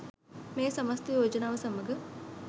'මේ සමස්ත යෝජනාව සමඟ